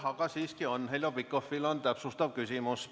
Aga siiski on, Heljo Pikhofil on täpsustav küsimus.